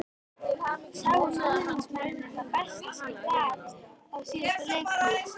Sáu stuðningsmennirnir það besta sem ég get á síðustu leiktíð?